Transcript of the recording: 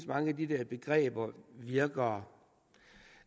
mange af de der begreber virker